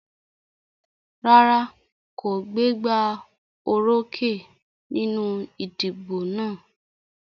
Rárá kò gbégbá orókè nínú ìdìbò náà.